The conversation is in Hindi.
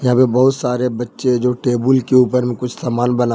यहां पे बहुत सारे बच्चे जो टेबुल के ऊपर में कुछ सामान बना--